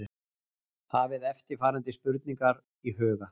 Hafið eftirfarandi spurningar í huga